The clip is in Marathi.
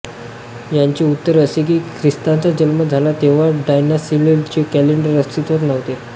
याचे उत्तर असे की ख्रिस्ताचा जन्म झाला तेव्हा डायनासिअसचे कॅलेंडर अस्तित्वात नव्हते